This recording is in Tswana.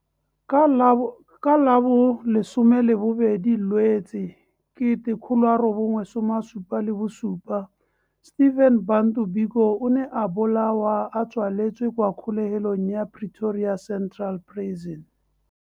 Ka la bo 12 Lwetse 1977, Stephen Bantu Biko o ne a bolawa a tswaletswe kwa kgolegelong ya Pretoria Central Prison.